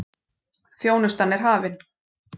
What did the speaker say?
Þjónustan er hafin.